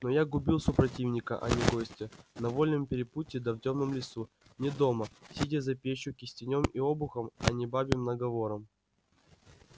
но я губил супротивника а не гостя на вольном перепутье да в тёмном лесу не дома сидя за печью кистенём и обухом а не бабьим наговором